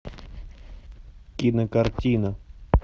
кинокартина